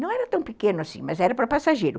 Não era tão pequeno assim, mas era para passageiro.